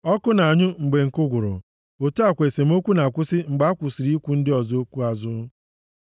Ọkụ na-anyụ mgbe nkụ gwụrụ, otu a kwa esemokwu na-akwụsị mgbe a kwụsịrị ikwu ndị ọzọ okwu nʼazụ.